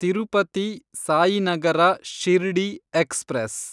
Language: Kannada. ತಿರುಪತಿ ಸಾಯಿನಗರ ಶಿರ್ಡಿ ಎಕ್ಸ್‌ಪ್ರೆಸ್